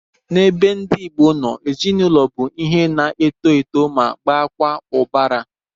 N'ebe ndị Igbo no, ezinụlọ bụ ihe na-eto eto ma baakwa ụbara